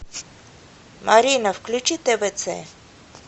марина включи твц